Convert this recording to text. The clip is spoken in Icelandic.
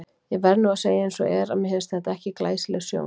Ég verð nú að segja eins og er, að mér fannst þetta ekki glæsileg sjón.